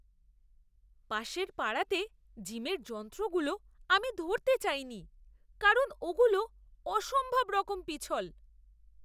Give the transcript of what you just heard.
পাশের পাড়াতে জিমের যন্ত্রগুলো আমি ধরতে চাইনি কারণ ওগুলো অসম্ভবরকম পিছল!